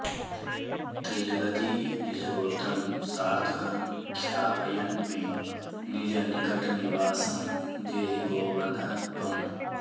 त्रिजगति निजगोत्रं सार्थकं ख्यापयन्मे निजनिकटनिवासं देहि गोवर्धन त्वम्